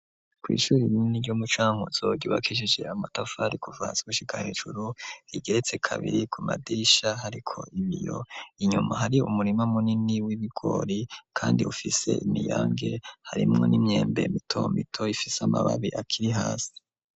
Kw'ishuri irinini ryoumucanke uzogbakishishe amatafari kuvantswushika hejuru rigeretse kabiri ku madisha hariko iniyo inyuma hari umurima munini w'ibigori, kandi ufise imiyange harimwo n'imyembe mitomito ifise amababi akiri hasi.